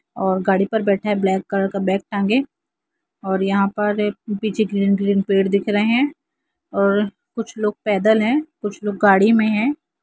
और गाड़ी पर बैठा है ब्लैक कलर का बैग टांगे और यहाँ पर पीछे ग्रीन ग्रीन पेड़ दिख रहे है और कुछ लोग पैदल है कुछ लोग गाड़ी मे है।